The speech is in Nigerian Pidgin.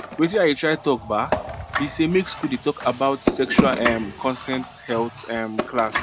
watin i dey try talk um be say make school dey talk about sexual um consent health um class